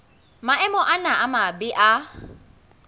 maemo ana a mabe a